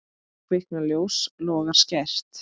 Kviknar ljós, logar skært.